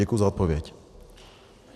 Děkuji za odpověď.